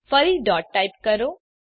ફરીથી dot type કરો